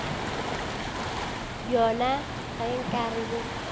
bjona ge nka re bo